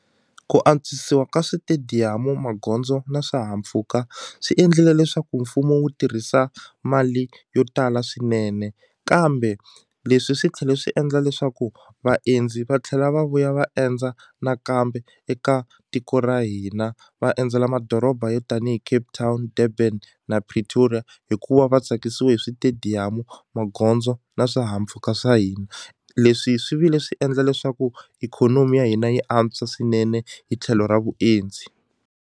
Ku antswisiwa ka switediyamu magondzo na swihahampfhuka swi endlile leswaku mfumo wu tirhisa mali yo tala swinene kambe leswi swi tlhele swi endla leswaku vaendzi va tlhela va vuya va endza nakambe eka tiko ra hina va endzela madoroba yo tanihi Cape Town Durban na Pretoria hikuva va tsakisiwe hi switediyamu magondzo na swihahampfhuka swa hina leswi swi vile swi endla leswaku ikhonomi ya hina yi antswa swinene hi tlhelo ra vuendzi.